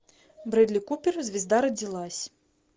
брэдли купер звезда родилась